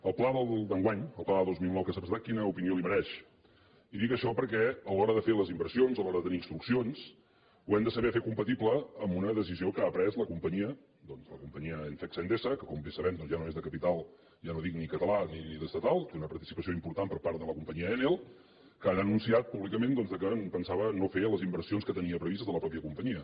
el pla d’enguany el pla de dos mil nou que s’ha presentat quina opinió li mereix i dic això perquè a l’hora de fer les inversions a l’hora de tenir instruccions ho hem de saber fer compatible amb una decisió que ha pres la companyia doncs la companyia fecsa endesa que com bé sabem ja no és de capital ja no dic ni català ni estatal que té una participació important per part de la companyia enel que ara ha anunciat públicament que pensava no fer les inversions que tenia previstes de la mateixa companyia